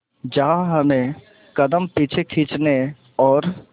जहां हमें कदम पीछे खींचने और